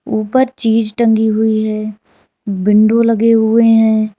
ऊपर चीज टंगी हुई है विंडो लगे हुए हैं।